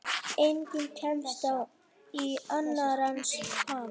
Enginn kemst í annars ham.